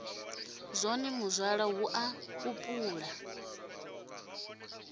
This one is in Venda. zwone muzwala hu a kupula